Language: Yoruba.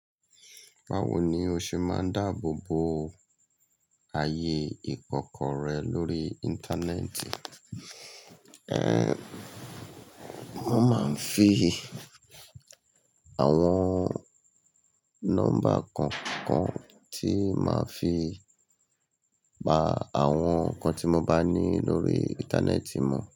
Báwo ni o ṣe máa ń dáàbò bo ayé ìkọ́kọrẹ́ lórí Íńtánẹ́ẹ̀tì? Ẹ̀n, mo máa ń fi àwọn nọ́mbà kan kan tí màá fi pa àwọn nǹkan tí mo bá ní lórí Íńtánẹ́ẹ̀tì mọ̀.